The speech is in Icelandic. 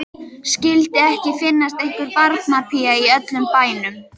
Skyldi ekki finnast einhver barnapía í öllum bænum.